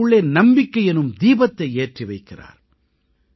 அவர்களுக்குள்ளே நம்பிக்கை எனும் தீபத்தை ஏற்றி வைக்கிறார்